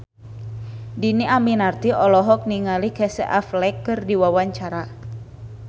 Dhini Aminarti olohok ningali Casey Affleck keur diwawancara